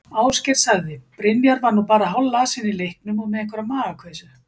Ásgeir sagði: Brynjar var nú bara hálflasinn í leiknum og með einhverja magakveisu.